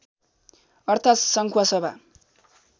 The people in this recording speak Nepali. अर्थात् सङ्खुवासभा